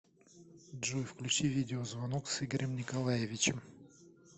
джой включи видеозвонок с игорем николаевичем